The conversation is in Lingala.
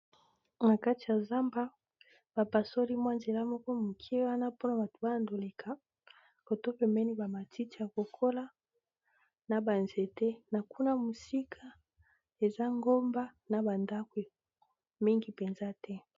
na kati ya zamba bapasoli mwa nzela moko moke wana mpona batu bayandoleka kotopemeni bamatiti ya kokola na banzete na kuna mosika eza ngomba na bandako mingi mpenza te